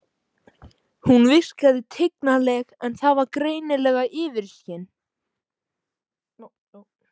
Hún virkaði tignarleg en það var greinilega yfirskin.